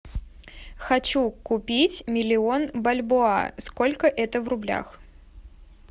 хочу купить миллион бальбоа сколько это в рублях